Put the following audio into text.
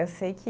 Eu sei que